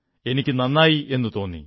എനിക്ക് നന്നായി എന്നു തോന്നി